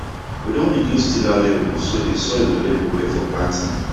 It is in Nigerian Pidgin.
we don reduce tiller level so dey soil go level well for planting